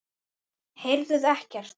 Heyrðuð ekkert?